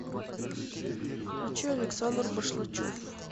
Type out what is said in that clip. включи александр башлачев